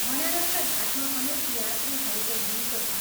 बनारसका घाटमा अनेक यात्रीहरूको घुइँचो छ।